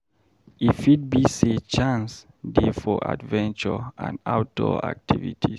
E fit be sey chance dey for adventure and outdoor activities.